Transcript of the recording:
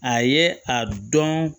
A ye a dɔn